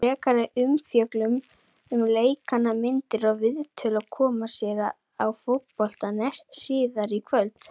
Frekari umfjöllun um leikina, myndir og viðtöl, koma hér á Fótbolta.net síðar í kvöld.